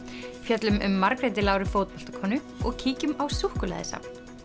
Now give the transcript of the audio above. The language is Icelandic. fjöllum um Margréti Láru og kíkjum á súkkulaðisafn